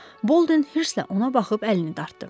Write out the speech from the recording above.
Bolden hirslə ona baxıb əlini dartdı.